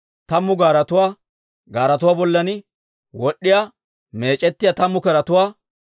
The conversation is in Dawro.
tammu gaaretuwaa, gaaretuwaa bollan wod'd'iyaa, meec'ettiyaa tammu keretuwaa,